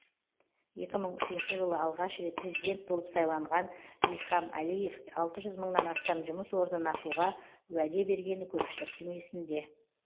екі мың үшінші жылы алғаш рет президент болып сайланған ильхам әлиев алты жүз мыңнан астам жұмыс орнын ашуға уәде бергені көпшіліктің есінде